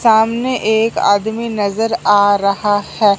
सामने एक आदमी नजर आ रहा है।